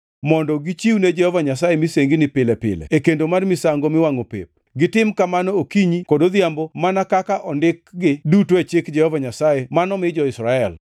mondo gichiwne Jehova Nyasaye misengini pile pile e kendo mar misango miwangʼo pep, gitim kamano okinyi kod odhiambo mana kaka ondikgi duto e Chik Jehova Nyasaye mano mi jo-Israel.